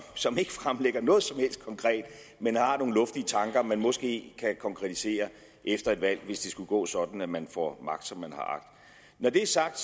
som ikke fremlægger noget som helst konkret men har nogle luftige tanker man måske kan konkretisere efter et valg hvis det skulle gå sådan at man får magt som man har agt når det er sagt